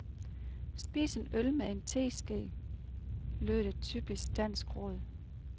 Spis en øl med en teske, lød et typisk dansk råd.